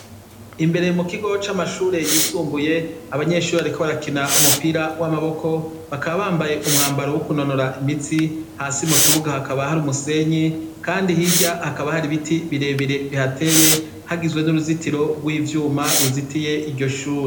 Imbere mu kigo c'amashure yisumbuye abanyeshure bariko barakina umupira w'amaboko bakaba bambaye umwambaro wo kunonora imitsi, hasi mu kibuga hakaba hari umusenyi, kandi hirya hakaba hari ibiti birebire bihateye hagizwe n'uruzitiro rw'ivyuma ruzitiye iryo shure.